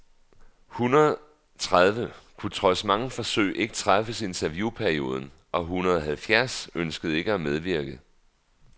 Hundrede tredive kunne trods mange forsøg ikke træffes i interviewperioden, og hundrede halvfjerds ønskede ikke at medvirke.